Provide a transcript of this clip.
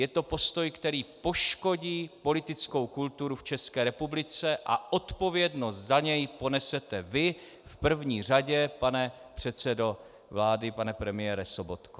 Je to postoj, který poškodí politickou kulturu v České republice, a odpovědnost za něj ponesete vy v první řadě, pane předsedo vlády, pane premiére Sobotko.